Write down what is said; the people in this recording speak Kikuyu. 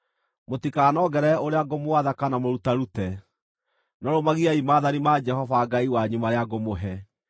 Mũtikanongerere ũrĩa ngũmwatha kana mũrutarute, no rũmagiai maathani ma Jehova Ngai wanyu marĩa ngũmũhe.